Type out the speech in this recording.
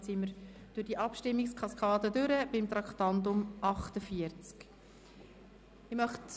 Damit sind wir am Ende dieser Abstimmungskaskade angekommen.